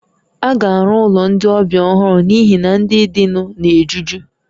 A ga-arụ ụlọ ndị ọbịa ọhụrụ n'ihi na ndị dịnụ na-ejuju